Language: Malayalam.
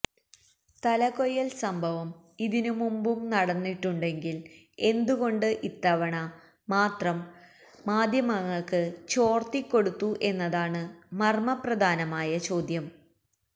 തലകൊയ്യല് സംഭവം ഇതിനു മുമ്പും നടന്നിട്ടുണ്ടെങ്കില് എന്തുകൊണ്ട് ഇത്തവണ മാത്രം മാധ്യമങ്ങള്ക്ക് ചോര്ത്തിക്കൊടുത്തു എന്നതാണ് മര്മ പ്രധാനമായ ചോദ്യം